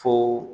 Fo